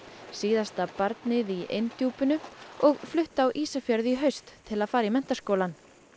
síðasta barnið í inn Djúpinu og flutti á Ísafjörð í haust til að fara í menntaskólann